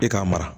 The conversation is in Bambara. E k'a mara